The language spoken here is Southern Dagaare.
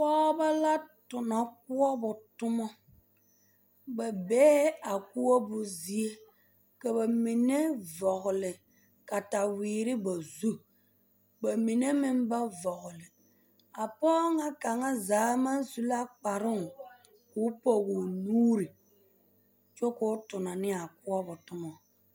Pɔgebɔ la tona koɔbo tomɔ ba bee a koɔbo zie ka ba mine vɔgle kataweere zu ba mine meŋ ba vɔgle a pɔge ŋa kaŋazaa maŋ su la kparoo ka o pɔge o nuuri kyɛ k'o tona ne a koɔbo toma.